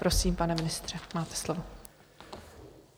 Prosím, pane ministře, máte slovo.